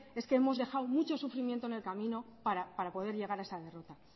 es que hemos dejado mucho sufrimiento en el camino para poder llegar a esa derrota